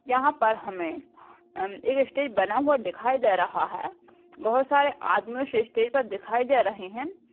यहाँ पर हमे अ एक स्टेज बना हुआ दिखाई दे रहा है बहुत सारे आदमी स्टेज पर दिखाई दे रहे है।